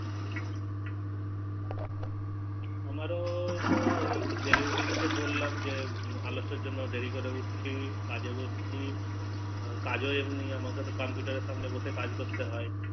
আমারো তো ওই যে Daily routine গুলো তো বললাম জন্য দেরি করে উঠছি কাজে বসছি আমাকে তো Computer এর সামনে বসে কাজ করতে হয়